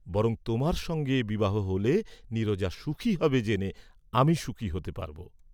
বরং তােমার সঙ্গে বিবাহ হলে নীরজা সুখী হবে জেনে আমি সুখী হতে পারব।